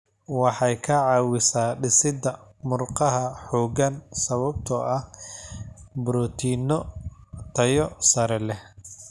Waxay ka caawisaa dhisidda murqaha xooggan sababtoo ah borotiinno tayo sare leh.